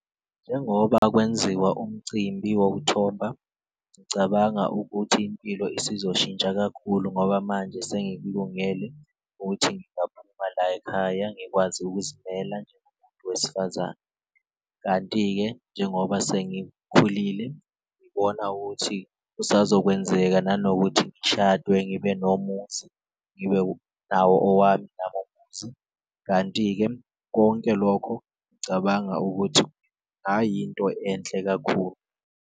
Njengoba kwenziwa umcimbi wokuthomba ngicabanga ukuthi impilo isizoshintsha kakhulu, ngoba manje sengikulungele ukuthi ngingaphuma layikhaya ngikwazi ukuzimela njengomuntu wesifazane. Kanti-ke njengoba sengikhulile ngibona ukuthi kusazokwenzeka nanokuthi ngishadwe ngibe nomuzi, ngibe nawo owami nami umuzi kanti-ke konke lokho ngicabanga ukuthi into enhle kakhulu.